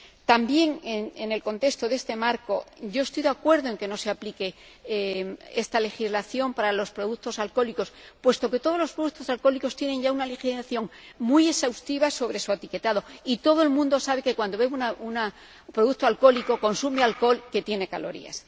También en este contexto estoy de acuerdo en que no se aplique esta legislación para los productos alcohólicos, puesto que todos los productos alcohólicos tienen ya una legislación muy exhaustiva sobre su etiquetado y todo el mundo sabe que cuando bebe un producto alcohólico consume alcohol, que tiene calorías.